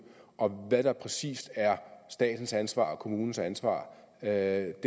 og hvad der præcis er statens ansvar og kommunens ansvar er